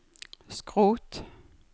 skrot